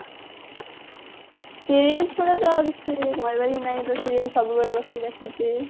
serial ଛଡା ତ ଆଉ କିଛି କରିବାର ହି ନାହି ତ serial ସବୁବେଳେ ବସି ଦେଖୁଛି